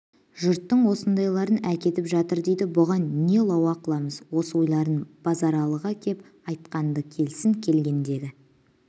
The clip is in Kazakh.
жұрттың осындайларын әкетіп жатыр дейді бұған не лауа қыламыз осы ойларын базаралыға кеп айтқан-ды келсін келгендегі